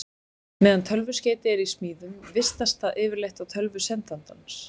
Meðan tölvuskeyti er í smíðum vistast það yfirleitt á tölvu sendandans.